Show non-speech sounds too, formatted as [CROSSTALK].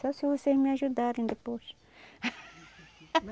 Só se vocês me ajudarem depois. [LAUGHS]